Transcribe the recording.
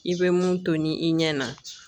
I bɛ mun to ni i ɲɛ na